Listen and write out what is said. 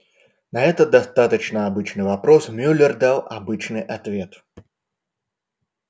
на этот достаточно обычный вопрос мюллер дал обычный ответ